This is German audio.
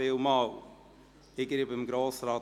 Ich gebe Grossrat